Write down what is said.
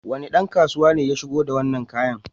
Wane ɗan kasuwa ne ya shigo da wannan kayan?